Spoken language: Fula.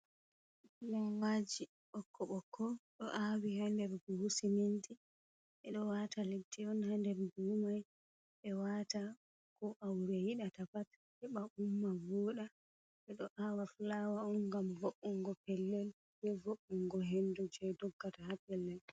Lemaji ɓoƙko-bƙko ɗo awi ha nder buhuji siminti ɓedo wata leddi on ha nder buhu man beɗo wata ko aure yiɗata pat heba umma vuda ɓeɗo awa flawa on ngam vo’ungo pellel be vo’ungo hendu je doggata ha pellel.